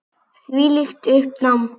Þvílíkt uppnám.